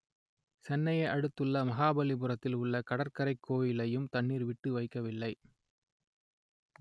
செ‌ன்னையை அடு‌த்து‌ள்ள மகாப‌லிபுர‌த்‌தி‌ல் உ‌ள்ள கட‌ற்கரை கோ‌விலையு‌ம் த‌ண்‌ணீ‌ர் ‌வி‌ட்டு வை‌க்க‌வி‌ல்லை